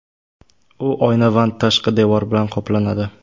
U oynavand tashqi devor bilan qoplanadi.